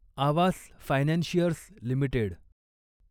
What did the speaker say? Awas financiers limited